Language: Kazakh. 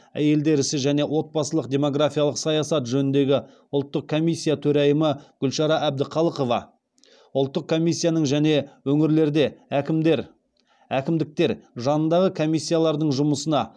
әйелдер ісі және отбасылық демгорафиялық саясат жөніндегі ұлттық комиссия төрайымы гүлшара әбдіқалықова ұлттық комиссияның және өңірлерде әкімдіктер жанындағы комиссиялардың жұмысына